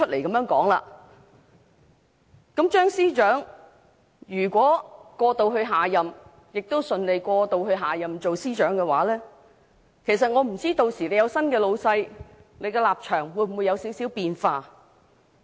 如果張司長能過渡至下任政府，亦順利在下任政府擔任司長一職，我不知屆時有了新的上司後，他的立場會否有少許變化。